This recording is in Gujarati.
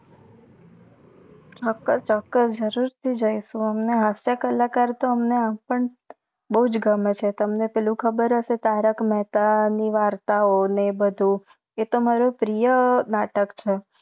ચોક્કસ ચોક્કસ જરૂર થી જઇસુ અમને હાસ્ય કલાકાર તો એમ પણ બોજ ગમે છે તમને પાલું ખબર હસે તારક મેહતા ની વરતવો ને બધુ એ તો મારૂ પ્રિય નાટક છે